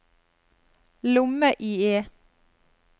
lomme-IE